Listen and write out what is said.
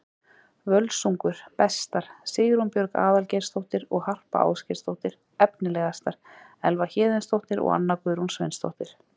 Völsungur: Bestar: Sigrún Björg Aðalgeirsdóttir og Harpa Ásgeirsdóttir Efnilegastar: Elva Héðinsdóttir og Anna Guðrún Sveinsdóttir